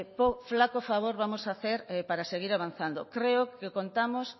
flaco favor vamos a hacer para seguir avanzando creo que contamos